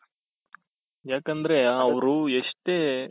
ಯಾಕಂದ್ರೆ ಅವರು ಎಷ್ಟೇ